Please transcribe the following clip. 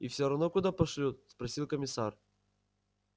и все равно куда пошлют спросил комиссар